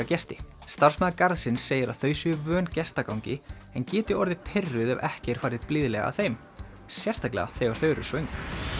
gesti starfsmaður garðsins segir að þau séu vön en geti orðið pirruð ef ekki er farið blíðlega að þeim sérstaklega þegar þau eru svöng